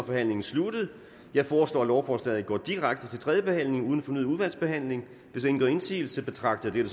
forhandlingen sluttet jeg foreslår at lovforslaget går direkte til tredje behandling uden fornyet udvalgsbehandling hvis ingen gør indsigelse betragter jeg